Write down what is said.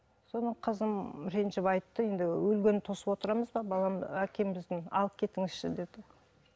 содан қызым ренжіп айтты енді өлгенін тосып отырамыз ба балам әкеміздің алып кетіңізші деді